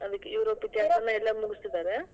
ಹಾ ಅದಕೆ ಯೂರೋಪ್ ಎಲ್ಲಾ ಮುಗಿಸಿದ್ದಾರೆ.